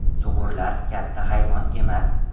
Sug‘urlar katta hayvon emas.